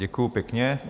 Děkuji pěkně.